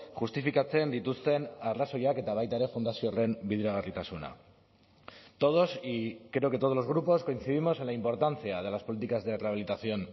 justifikatzen dituzten arrazoiak eta baita ere fundazio horren bideragarritasuna todos y creo que todos los grupos coincidimos en la importancia de las políticas de rehabilitación